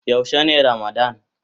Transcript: Yaushe ne ramadann.?